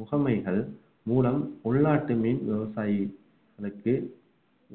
முகமைகள் மூலம் உள்நாட்டு மீன் விவசாயிகளுக்கு